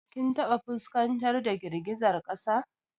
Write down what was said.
Kin taɓa fuskantar da girgizar kasa?